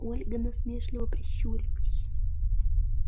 ольга насмешливо прищурилась